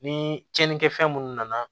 Ni cɛnnikɛ fɛn munnu nana